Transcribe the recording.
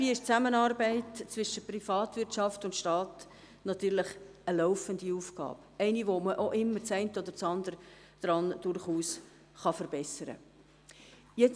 Dabei ist die Zusammenarbeit zwischen Privatwirtschaft und Staat eine laufende Aufgabe – eine Aufgabe, bei der das eine oder andere durchaus verbessert werden kann.